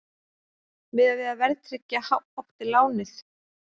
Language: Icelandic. Miðað við að verðtryggja átti lánið